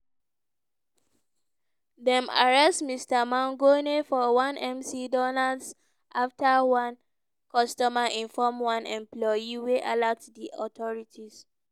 dem arrest mr mangione for one mcdonald's afta one customer inform one employee wey alert di authorities.